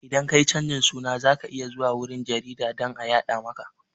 Idan ka yi canjin suna za ka iya zuwa wurin jarida dan a yaɗa maka